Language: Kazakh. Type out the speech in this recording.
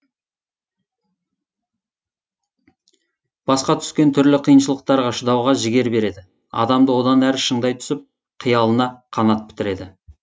басқа түскен түрлі қиыншылықтарға шыдауға жігер береді адамды одан әрі шыңдай түсіп қиялына қанат бітіреді